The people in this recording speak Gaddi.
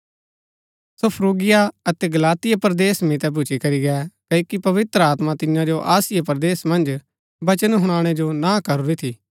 सो Phrygia अतै Galatia परदेस मितै भूच्ची करी गै क्ओकि पवित्र आत्मा तियां जो आसिया परदेस मन्ज वचन हुनाणै जो ना करूरी थी